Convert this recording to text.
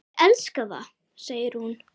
Ég elska það, segir hún.